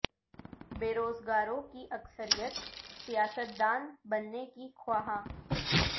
بے روزگاروں کی اکثریت سیاست دان بننے کی خواہاں